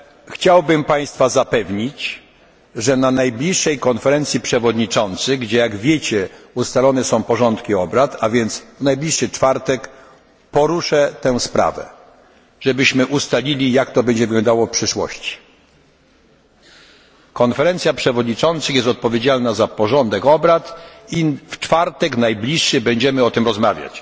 Chciałbym Państwa zapewnić, że na najbliższej Konferencji Przewodniczących, gdzie jak Państwo wiecie, ustalane są porządki obrad, a więc w najbliższy czwartek, poruszę tę sprawę żebyśmy ustalili, jak to będzie wyglądało w przyszłości. Konferencja Przewodniczących jest odpowiedzialna za porządek obrad i w najbliższy czwartek będziemy o tym rozmawiać.